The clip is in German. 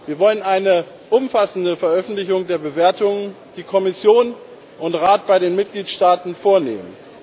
Wir wollen eine umfassende Veröffentlichung der Bewertungen, die Kommission und Rat bei den Mitgliedstaaten vornehmen.